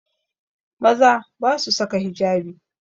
Maza ba su saka hijabi